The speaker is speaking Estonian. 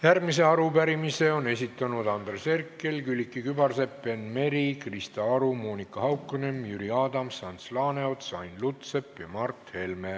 Järgmise arupärimise on esitanud Andres Herkel, Külliki Kübarsepp, Enn Meri, Krista Aru, Monika Haukanõmm, Jüri Adams, Ants Laaneots, Ain Lutsepp ja Mart Helme.